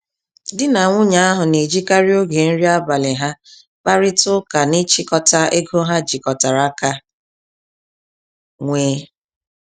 Di na nwunye ahụ n'ejikarị oge nri abalị ha kparịta ụka n'ịchịkọta ego ha jikọtara aka nwee.